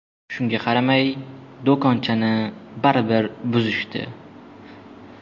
Shunga qaramay, do‘konchani baribir buzishdi.